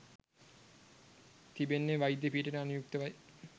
තිබෙන්නේ වෛද්‍ය පීඨයට අනුයුක්තවයි.